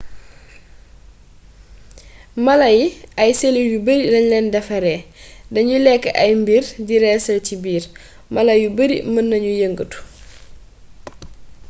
mala yi ay selul yu bari lañ leen defaree dañuy lekk ay mbir di reesal ci biir mala yu bari mën nañu yëngëtu